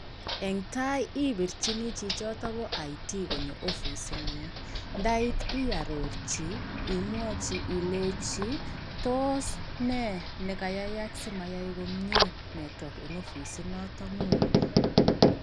Eng tai ibirchini chichoto bo information technology konyo ofisingung ndait iarorchi imwochi ilechi, tos nee nekayayak simayae komie nertwok eng ofisinoto ngung?.